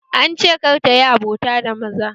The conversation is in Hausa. An ce kar tayi abota da maza